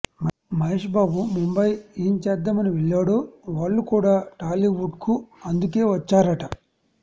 మహేష్ బాబు ముంబయ్ ఏం చేద్దామని వెళ్ళాడో వాళ్ళుకూడా టాలీవుడ్కు అందుకే వచ్చారట